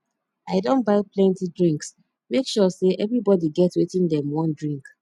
i don buy plenty drinks make sure sey everybodi get wetin dem wan drink